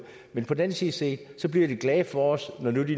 men på den anden side set bliver de glade for os